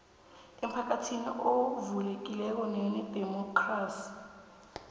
emphakathini ovulekileko nonedemokhrasi